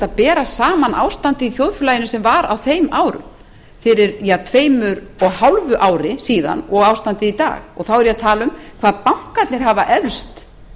bera saman ástandið í þjóðfélaginu sem var á þeim árum fyrir ja tveimur og hálfu ári síðan og ástandið í dag og þá er ég að tala um hvað bankarnir hafa eflst